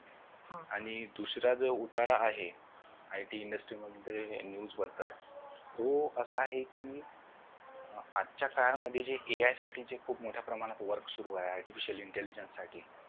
आणि दुसरा जर उतारा आहे ITindustry मध्ये news बद्दल तो असा आहे कि आजच्या काळामध्ये जे AI साठी जे खूप मोठ्या प्रमाणात work सुरु आहे artificial intelligence साठी